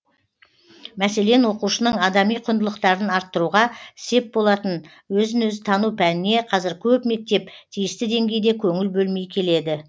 мәселен оқушының адами құндылықтарын арттыруға сеп болатын өзін өзі тану пәніне қазір көп мектеп тиісті деңгейде көңіл бөлмей келеді